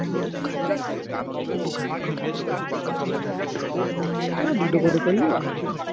আরে দুটো করে করলেই অস্থির।